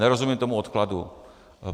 Nerozumím tomu odkladu.